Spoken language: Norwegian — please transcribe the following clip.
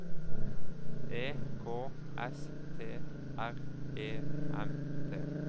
E K S T R E M T